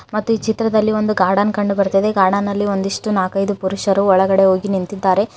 ಮತ್ತು ಈ ಚಿತ್ರದಲ್ಲಿ ಒಂದು ಗಾರ್ಡನ್ ಕಂಡು ಬರುತ್ತದೆ ಗಾರ್ಡನ್ನಲ್ಲಿ ಒಂದಿಷ್ಟು ನಾಕೈದು ಪುರುಷರು ಒಳಗಡೆ ಹೋಗಿ ನಿಂತಿದ್ದಾರೆ.